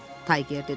Tayger dedi.